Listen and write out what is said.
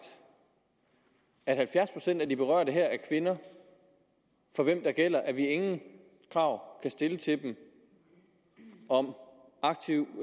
at halvfjerds procent af de berørte her er kvinder for hvem det gælder at vi ingen krav kan stille til dem om aktiv